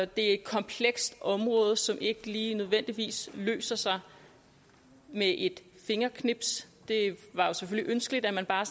det er et komplekst område som ikke lige nødvendigvis løser sig med et fingerknips det var jo selvfølgelig ønskeligt at man bare